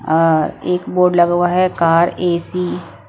अ एक बोर्ड लगा हुआ है कार ए_सी --